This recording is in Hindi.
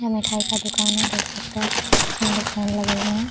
यह मिठाई का दुकान है देख सकते है इसमें दो फैन लगे हुए है ।